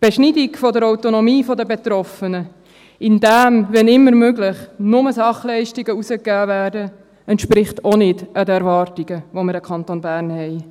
Die Beschneidung der Autonomie der Betroffenen, indem wann immer möglich nur Sachleistungen herausgegeben werden, entspricht auch nicht den Erwartungen, die wir an den Kanton Bern haben.